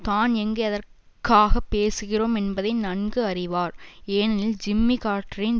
தான் எங்கு எதற்காக பேசுகிறோம் என்பதை நன்கு அறிவார் ஏனெனில் ஜிம்மி கார்ட்டரின்